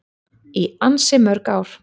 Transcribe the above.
Í ansi mörg ár.